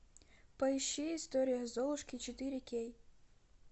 поищи история золушки четыре кей